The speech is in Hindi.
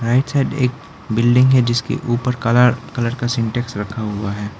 राइट साइड एक बिल्डिंग है जिसके ऊपर काला कलर का सिंटेक्स रखा हुआ है।